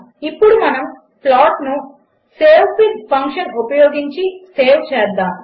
ఇప్పుడు మనము ప్లాట్ను సేవ్ఫిగ్ ఫంక్షన్ ఉపయోగించి సేవ్ చేస్తాము